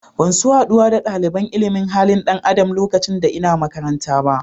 Ban so haduwa da dalibain ilimin halin dan Adam lokacin da n'na makaranta ba.